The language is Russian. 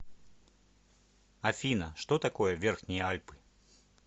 афина что такое верхние альпы